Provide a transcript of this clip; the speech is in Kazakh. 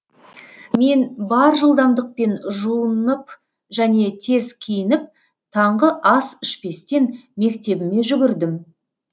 мен бар жылдамдықпен жуынап және тез киініп таңғы ас ішпестен мектебіме жүгірдім